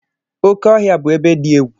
Oké Ohia bu ebe di egwu.